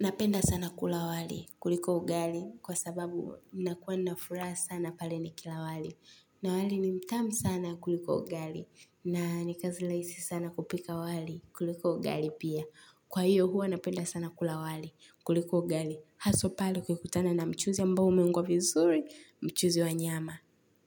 Napenda sana kula wali, kuliko ugali, kwa sababu nakuwa nina furaha sana pale nikila wali. Na wali ni mtamu sana kuliko ugali. Na ni kazi rahisi sana kupika wali, kuliko ugali pia. Kwa hiyo huwa napenda sana kula wali, kuliko ugali. Haswa pale ukikutana na mchuzi ambao umeungwa vizuri, mchuzi wa nyama.